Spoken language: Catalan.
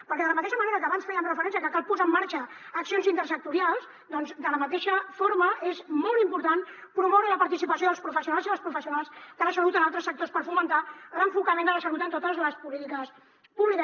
perquè de la mateixa manera que abans fèiem referència que cal posar en marxa accions intersectorials doncs de la mateixa forma és molt important promoure la participació dels professionals i de les professionals de la salut en altres sectors per fomentar l’enfocament de la salut en totes les polítiques públiques